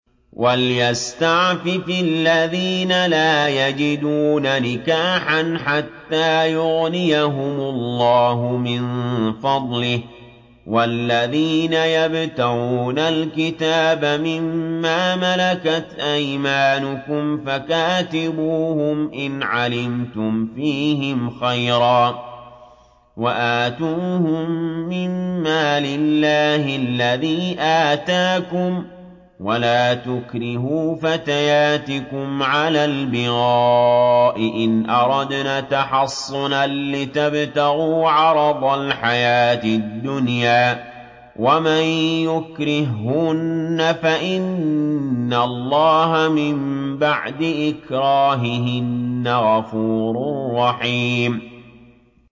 وَلْيَسْتَعْفِفِ الَّذِينَ لَا يَجِدُونَ نِكَاحًا حَتَّىٰ يُغْنِيَهُمُ اللَّهُ مِن فَضْلِهِ ۗ وَالَّذِينَ يَبْتَغُونَ الْكِتَابَ مِمَّا مَلَكَتْ أَيْمَانُكُمْ فَكَاتِبُوهُمْ إِنْ عَلِمْتُمْ فِيهِمْ خَيْرًا ۖ وَآتُوهُم مِّن مَّالِ اللَّهِ الَّذِي آتَاكُمْ ۚ وَلَا تُكْرِهُوا فَتَيَاتِكُمْ عَلَى الْبِغَاءِ إِنْ أَرَدْنَ تَحَصُّنًا لِّتَبْتَغُوا عَرَضَ الْحَيَاةِ الدُّنْيَا ۚ وَمَن يُكْرِههُّنَّ فَإِنَّ اللَّهَ مِن بَعْدِ إِكْرَاهِهِنَّ غَفُورٌ رَّحِيمٌ